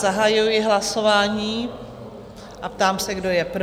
Zahajuji hlasování a ptám se, kdo je pro?